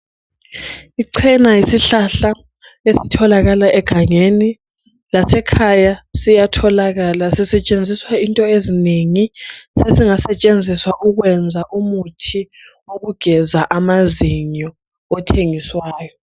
Icena yisihlahla esitholakala egangeni, lasekhaya siyatholakala. Sisetshenziswa izinto ezinengi. Sesingasetshenziswa ukwenza umuthi owekugeza amazinyo othengiswayo.